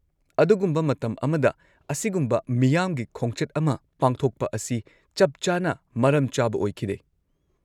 -ꯑꯗꯨꯒꯨꯝꯕ ꯃꯇꯝ ꯑꯃꯗ ꯑꯁꯤꯒꯨꯝꯕ ꯃꯤꯌꯥꯝꯒꯤ ꯈꯣꯡꯆꯠ ꯑꯃ ꯄꯥꯡꯊꯣꯛꯄ ꯑꯁꯤ ꯆꯞ ꯆꯥꯅ ꯃꯔꯝꯆꯥꯕ ꯑꯣꯏꯈꯤꯗꯦ ꯫